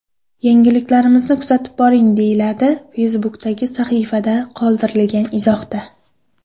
Yangiliklarimizni kuzatib boring”, deyiladi Facebook’dagi sahifada qoldirilgan izohda.